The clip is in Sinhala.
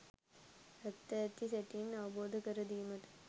ඇත්ත ඇති සැටියෙන් අවබෝධකර දීමට